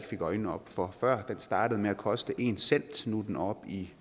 øjnene op for før den startede med at koste en cent nu er den oppe i